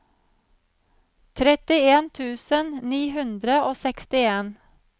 trettien tusen ni hundre og sekstien